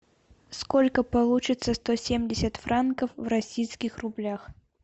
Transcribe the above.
сколько получится сто семьдесят франков в российских рублях